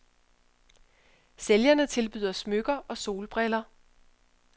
Sælgerne tilbyder smykker og solbriller.